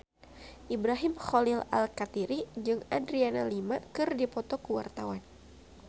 Ibrahim Khalil Alkatiri jeung Adriana Lima keur dipoto ku wartawan